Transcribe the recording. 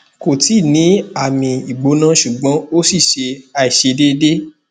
ko ti ni ami igbona sugbon o si se aisedeede